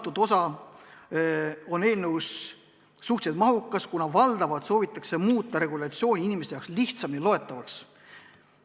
See osa on eelnõus suhteliselt mahukas, kuna regulatsioon soovitakse muuta inimeste jaoks lihtsamini loetavaks.